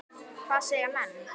Hvað segja menn?